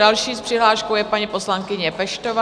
Další s přihláškou je paní poslankyně Peštová.